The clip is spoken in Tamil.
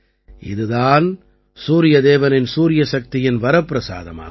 இது தான் சூரியதேவனின் சூரியசக்தியின் வரப்பிரசாதமாகும்